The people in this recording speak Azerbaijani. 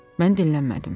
Mən dinlənmədim.